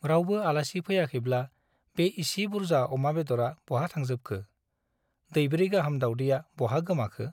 रावबो आलासि फैयाखैब्ला बे इसि बुर्जा अमा बेदरा बहा थांजोबखो ? दैब्रै गाहाम दावदैया बहा गोमाखो ?